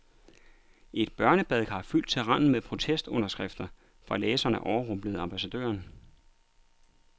Et børnebadekar fyldt til randen med protestunderskrifter fra læserne overrumplede ambassadøren.